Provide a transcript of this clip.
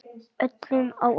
Öllum á óvart.